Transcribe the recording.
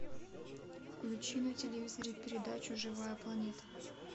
включи на телевизоре передачу живая планета